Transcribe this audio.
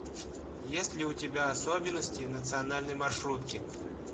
есть ли у тебя особенности национальной маршрутки